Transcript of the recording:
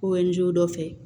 dɔ fɛ